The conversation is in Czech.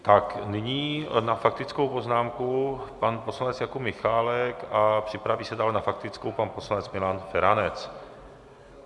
Tak nyní na faktickou poznámku pan poslanec Jakub Michálek a připraví se dále na faktickou pan poslanec Milan Feranec.